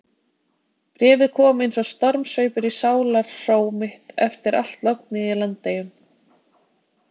Bréfið kom eins og stormsveipur í sálarhró mitt eftir allt lognið í Landeyjunum.